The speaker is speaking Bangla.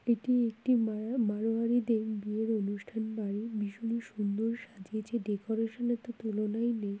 এটি একটি মার মাড়োয়ারিদের এই বিয়ের অনুষ্টানের বাড়ি। ভীষণ সুন্দর সাজিয়েছে। ডেকোরেশন -এর তো তুলনায় নেই।